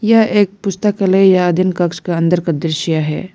यह एक पुस्तकालय या दिन कक्ष का अंदर का दृश्य है।